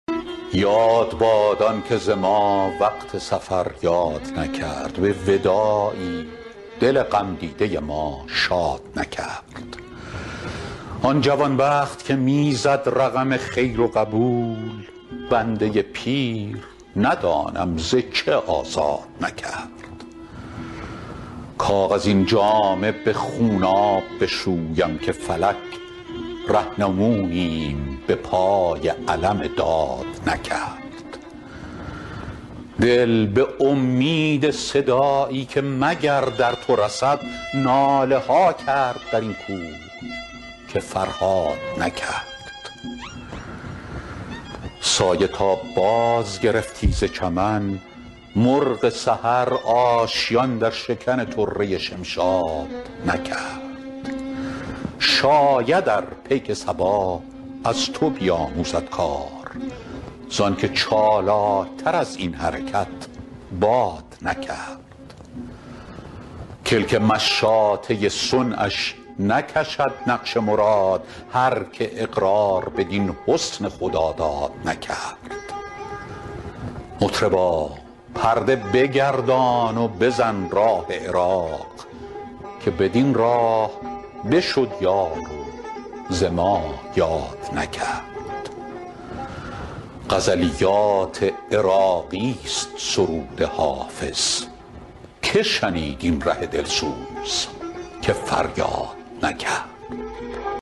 یاد باد آن که ز ما وقت سفر یاد نکرد به وداعی دل غم دیده ما شاد نکرد آن جوان بخت که می زد رقم خیر و قبول بنده پیر ندانم ز چه آزاد نکرد کاغذین جامه به خونآب بشویم که فلک رهنمونیم به پای علم داد نکرد دل به امید صدایی که مگر در تو رسد ناله ها کرد در این کوه که فرهاد نکرد سایه تا بازگرفتی ز چمن مرغ سحر آشیان در شکن طره شمشاد نکرد شاید ار پیک صبا از تو بیاموزد کار زآن که چالاک تر از این حرکت باد نکرد کلک مشاطه صنعش نکشد نقش مراد هر که اقرار بدین حسن خداداد نکرد مطربا پرده بگردان و بزن راه عراق که بدین راه بشد یار و ز ما یاد نکرد غزلیات عراقی ست سرود حافظ که شنید این ره دل سوز که فریاد نکرد